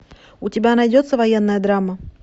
у тебя найдется военная драма